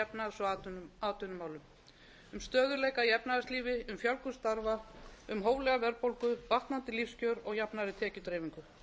efnahags og atvinnumálum um stöðugleika í efnahagslífi um fjölgun starfa um hóflega verðbólgu batnandi lífskjör og jafnari tekjudreifingu